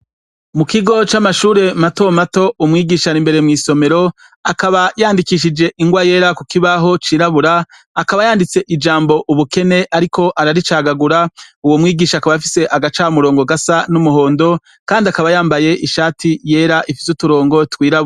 Mu kigo c'amashure mato mato, umwigisha ari imbere mw'isomero akaba yandikishije ingwa yera kukibaho c'irabura akaba yanditse ijambo ubukene ariko araricagagura, uwo umwigisha akaba afise agamurongo gasa n'umuhondo kandi akaba yambaye ishati ryera ifise uturongo twirabura.